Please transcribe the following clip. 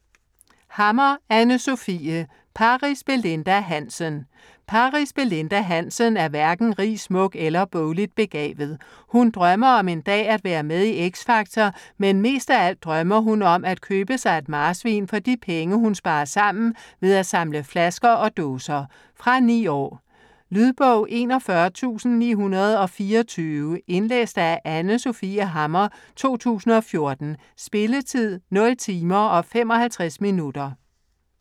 Hammer, Anne Sofie: Paris Belinda Hansen Paris Belinda Hansen er hverken rig, smuk eller bogligt begavet. Hun drømmer om en dag at være med i X Factor, men mest af alt drømmer hun om at købe sig et marsvin for de penge hun sparer sammen ved at samle flasker og dåser. Fra 9 år. Lydbog 41924 Indlæst af Anne Sofie Hammer, 2014. Spilletid: 0 timer, 55 minutter.